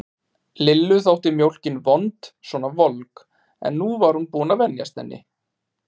Lillu þótt mjólkin vond svona volg, en nú var hún búin að venjast henni.